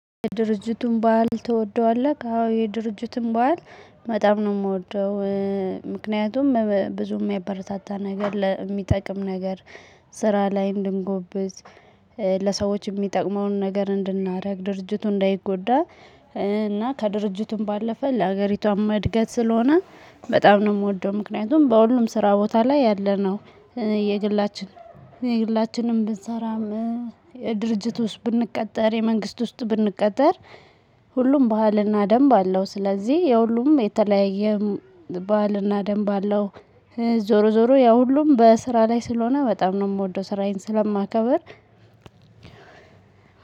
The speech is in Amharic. ድርጅቱን በዓል ትወደዋለህ አዎ የድርጅቱን በዓል በጣም ነው የምወደው። ምክንያቱም ብዙም የሚበረታታ ነገር የሚጠቅም ነገር። ስራ ላይ እንድንጎብዝ። ለሰዎች የሚጠቅመውን ነገር እንድናደርግ ድርጅቱ እንዳይጎዳ። እና ከድርጅቱም ባለፈ ለሀገሪቷም እድገት ስለሆነ በጣም ነው የምወደው። ምክንያቱም በሁሉም ስራ ቦታ ላይ ያለነው። የግላችን የግላችንም ብንሰራም። የድርጅት ውስጥ ብንቀጠር የመንግስት ውስጥ ብንቀጠር። ሁሉም ባህልና ደንብ አለው። ስለዚህ የሁሉም የተለያየ ባህልና ደንብ አለው። ዞሮ ዞሮ ያ ሁሉም በስራ ላይ ስለሆነ በጣም ነው የምወደው። ስራዬን ስለማከብር።